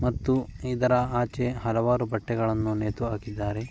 ಮತ್ತು ಇದರ ಆಚೆ ಹಲವಾರು ಬಟ್ಟೆಗಳನ್ನು ನೇತು ಹಾಕಿದ್ದಾರೆ.